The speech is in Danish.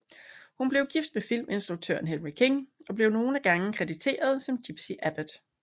Hun blev gift med filminstruktøren Henry King og blev nogle gange krediteret som gypsie Abbott